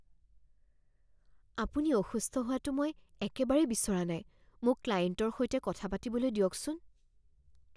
আপুনি অসুস্থ হোৱাটো মই একেবাৰেই বিচৰা নাই। মোক ক্লায়েণ্টৰ সৈতে কথা পাতিবলৈ দিয়কচোন